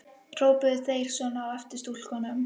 Hrópuðu þeir svona á eftir stúlkum?